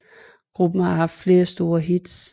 Gruppen har haft flere store hits